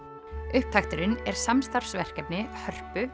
upptakturinn er samstarfsverkefni Hörpu